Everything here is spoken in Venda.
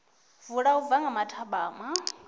vula u bva nga mathabama